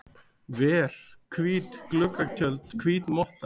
ver, hvít gluggatjöld, hvít motta.